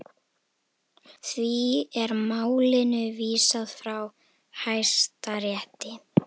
Því er málinu vísað frá Hæstarétti